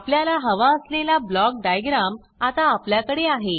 आपल्याला हवा असलेला ब्लॉक डायग्राम आता आपल्याकडे आहे